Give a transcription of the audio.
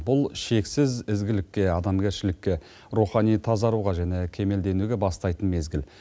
бұл шексіз ізгілікке адамгершілікке рухани тазаруға және кемелденуге бастайтын мезгіл